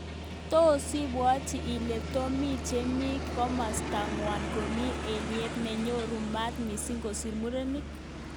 Tos ibwoti ile tobik chemi kimosta ngwong komi alyet nenyoru maat missing kosir murenik?